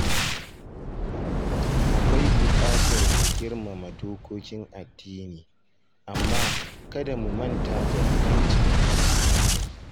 Akwai buƙatar mu girmama dokokin addini, amma kada mu manta da 'yancin tunaninmu.